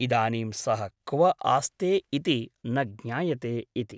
इदानीं सः क्व आस्ते इति न ज्ञायते इति ।